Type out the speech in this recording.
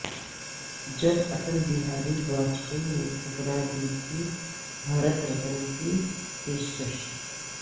جب اٹل بہاری واجپئی نے ٹھکرا دی تھی بھارت رتن کی پیشکش